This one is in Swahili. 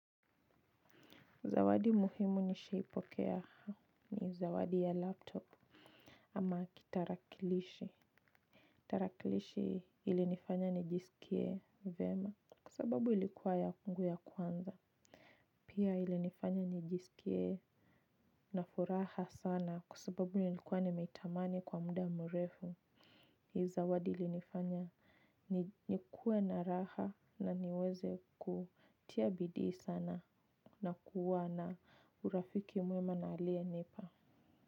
Zawadi muhimu nishaipokea ni zawadi ya laptop. Ama kitarakilishi. Kitarakilishi ili nifanya nijisikie vema. Kusababu ilikuwa yangu ya kwanza. Pia ili nifanya nijisikie na furaha sana kwasababu nilikuwa nimetamani kwa muda mrefu. Zawadi ilinifanya nikuwe na raha na niweze kutia bidi sana na kuwa na urafiki mwema na alie nipa.